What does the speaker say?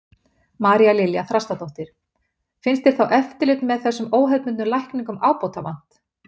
María Lilja Þrastardóttir: Finnst þér þá eftirliti með þessum óhefðbundnu lækningum ábótavant?